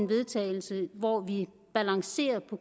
vedtagelse hvor vi balancerer på